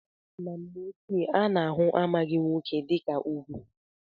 Na mgbe ochie a na-ahụ amaghị nwoke dịka ugwu.